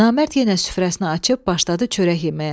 Namərd yenə süfrəsini açıb başladı çörək yeməyə.